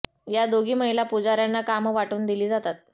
या दोघी महिला पुजाऱ्यांना कामं वाटून दिली जातात